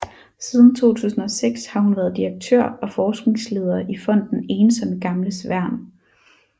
Siden 2006 har hun været direktør og forskningsleder i Fonden Ensomme Gamles Værn